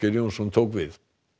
Jónsson tók við